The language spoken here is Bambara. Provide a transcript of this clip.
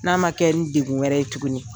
N'a ma kɛ n' degun wɛrɛ ye tuguni.